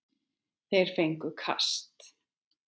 Þeir fengju kast!